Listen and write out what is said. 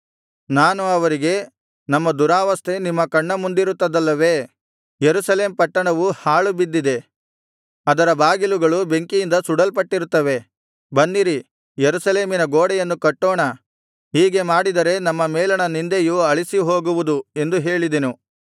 ನಾನು ಅವರಿಗೆ ನಮ್ಮ ದುರಾವಸ್ಥೆ ನಿಮ್ಮ ಕಣ್ಣ ಮುಂದಿರುತ್ತದಲ್ಲವೇ ಯೆರೂಸಲೇಮ್ ಪಟ್ಟಣವು ಹಾಳು ಬಿದ್ದಿದೆ ಅದರ ಬಾಗಿಲುಗಳು ಬೆಂಕಿಯಿಂದ ಸುಡಲ್ಪಟ್ಟಿರುತ್ತವೆ ಬನ್ನಿರಿ ಯೆರೂಸಲೇಮಿನ ಗೋಡೆಯನ್ನು ಕಟ್ಟೋಣ ಹೀಗೆ ಮಾಡಿದರೆ ನಮ್ಮ ಮೇಲಣ ನಿಂದೆಯು ಅಳಿಸಿ ಹೋಗುವುದು ಎಂದು ಹೇಳಿದೆನು